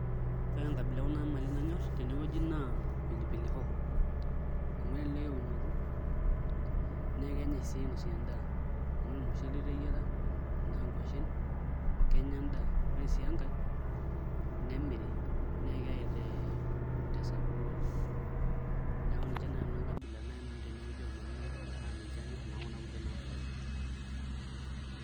ore enkabila ekuna mali nanyor naa pilipili hoho, amu elelek eunoto, naa kenyae sii ainosie edaa. tenaa ormushele iteyiara tenaa nkwashen, kenya edaa ore sii enkae nemiri, naa keyae tesapuko oleng. neeku ninche naaji nanu enkabila naaji nanu oomali naidim tene wueji. ninche anyor alang'u kuna kulie naaboitare.